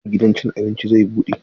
Yau gidan cin abinci zai bude?